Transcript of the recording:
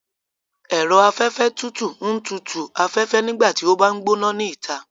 Ẹ̀rọ afẹfẹ tutu ń tutù u afẹ́fẹ́ nígbà tí ó bá ń gbóná ni ìta